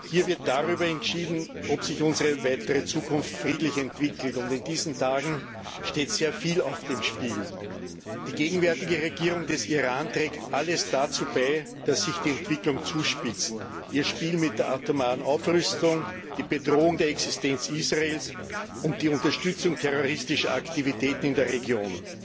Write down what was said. Hier wird darüber entschieden, ob sich unsere weitere Zukunft friedlich entwickelt, und in diesen Tagen steht sehr viel auf dem Spiel. Die gegenwärtige Regierung des Iran trägt alles dazu bei, dass sich die Entwicklung zuspitzt ihr Spiel mit der atomaren Aufrüstung, die Bedrohung der Existenz Israels und die Unterstützung terroristischer Aktivitäten in der Region.